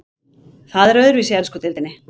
Það er öðruvísi í ensku deildinni.